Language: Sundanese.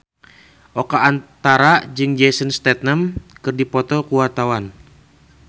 Oka Antara jeung Jason Statham keur dipoto ku wartawan